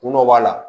Kun dɔ b'a la